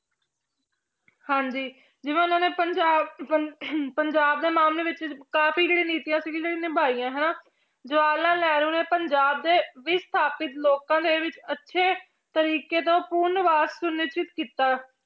ਹਾਂਜੀ ਜਿਵੇਂ ਉਹਨਾਂ ਨੇ ਪੰਜਾਬ ਪੰ~ ਪੰਜਾਬ ਦੇ ਮਾਮਲੇ ਵਿੱਚ ਕਾਫ਼ੀ ਜਿਹੜੀ ਨੀਤੀਆਂ ਸੀਗੀ ਜਿਹੜੀ ਨਿਭਾਈਆਂ ਹਨਾ, ਜਵਾਹਰ ਲਾਲ ਨਹਿਰੂ ਨੇ ਪੰਜਾਬ ਦੇ ਵੀ ਸਥਾਪਿਤ ਲੋਕਾਂ ਦੇ ਵਿੱਚ ਅੱਛੇ ਤਰੀਕੇ ਤੋਂ ਪੂਰਨ ਕੀਤਾ।